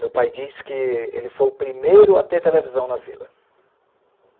Meu pai disse que ele foi o primeiro a ter televisão na vila.